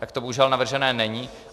Tak to bohužel navrženo není.